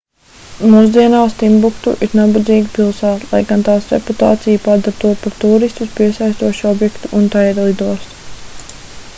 mūsdienās timbuktu ir nabadzīga pilsēta lai gan tās reputācija padara to par tūristus piesaistošu objektu un tai ir lidosta